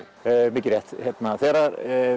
mikið rétt þegar